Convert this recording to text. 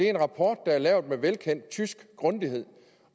en rapport der er lavet med velkendt tysk grundighed